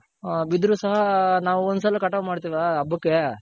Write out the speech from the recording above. ಹ ಬಿದ್ರು ಸಹ ನಾವ್ ಒಂದ್ ಸರಿ ಮಾಡ್ತಿವಲ್ಲ ಹಬ್ಬಕ್ಕೆ.